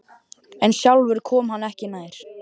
En sjálfur kom hann ekki nær.